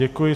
Děkuji.